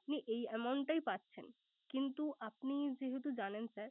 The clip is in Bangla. আপনি এই amount টাই পাচ্ছেন। কিন্তু আপনিযেহেতু জানেন sir